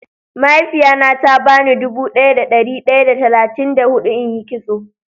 Mahaifiya na ta ba ni dubu daya da dari daya da talatin da hudu in yi kitso.